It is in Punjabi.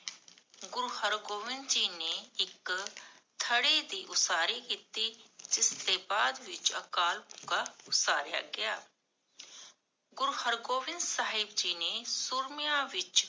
ਗੁਰੂ ਹਰਗੋਵਿੰਦ ਜੀ ਨੇ ਇਕ ਥੜੀ ਦੀ ਉਸਾਰੀ ਕੀਤੀ, ਜਿਸਦੇ ਬਾਦ ਵਿਚ ਅਕਾਲ ਉਸਾਰਿਆ ਗਿਆ ਗੁਰੂ ਹਰ੍ਗੋਵਿੰਦ ਸਾਹਿਬ ਜੀ ਨੇ ਸੂਰਮਿਆਂ ਵਿੱਚ